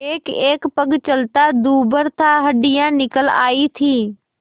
एकएक पग चलना दूभर था हड्डियाँ निकल आयी थीं